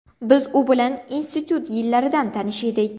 Biz u bilan institut yillaridan tanish edik.